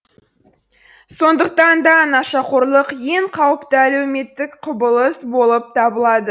сондықтан да нашақорлық ең қауіпті әлеуметтік құбылыс болып табылады